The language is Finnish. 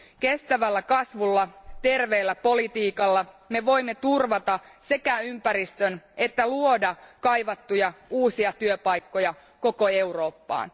Kestävällä kasvulla, terveellä politiikalla me voimme turvata sekä ympäristön että luoda kaivattuja uusia työpaikkoja koko Eurooppaan.